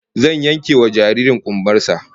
Zan yankewa jaririn kumbar sa